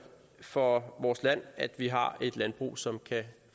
for vores land at vi har et landbrug som kan